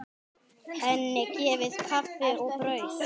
Henni gefið kaffi og brauð.